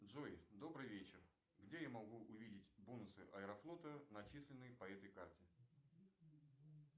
джой добрый вечер где я могу увидеть бонусы аэрофлота начисленные по этой карте